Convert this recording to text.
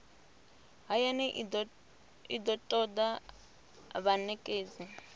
hayani i do toda vhanekedzi